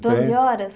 doze horas?